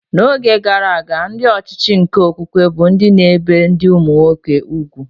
N'oge gara aga, ndị ọchịchị nke okwukwe bụ ndị na-ebi ndị ụmụnwoke úgwù